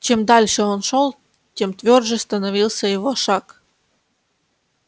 чем дальше он шёл тем твёрже становился его шаг